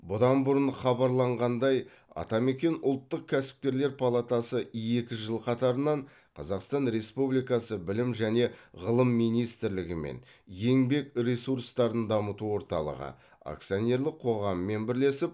бұдан бұрын хабарланғандай атамекен ұлттық кәсіпкерлер палатасы екі жыл қатарынан қазақстан ресупбликасы білім және ғылым министрлігі мен еңбек ресурстарын дамыту орталығы акционерлік қоғаммен бірлесіп